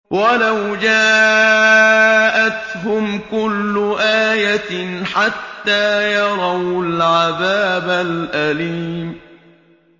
وَلَوْ جَاءَتْهُمْ كُلُّ آيَةٍ حَتَّىٰ يَرَوُا الْعَذَابَ الْأَلِيمَ